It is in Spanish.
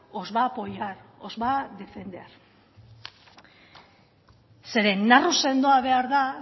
os va a apoyar os va a defender zeren narru sendoa behar da